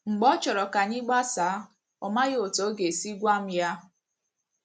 Mgbe ọ chọrọ ka anyị gbasaa, ọ maghị otú ọ ga - esi gwa m ya.